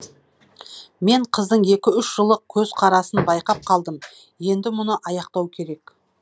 мен қыздың екі үш жылы көзқарасын байқап қалдым енді мұны аяқтау керек